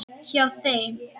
Hjá þeim.